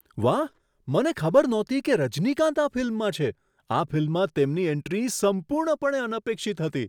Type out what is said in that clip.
વાહ! મને ખબર નહોતી કે રજનીકાંત આ ફિલ્મમાં છે. આ ફિલ્મમાં તેમની એન્ટ્રી સંપૂર્ણપણે અનપેક્ષિત હતી.